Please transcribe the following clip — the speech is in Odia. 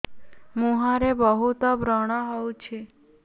ମୁଁହରେ ବହୁତ ବ୍ରଣ ହଉଛି